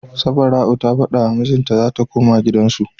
Safara'u ta fada wa mijin ta zata koma gidan su